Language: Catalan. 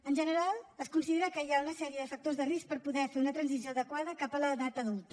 en general es considera que hi ha una sèrie de factors de risc per poder fer una transició adequada cap a l’edat adulta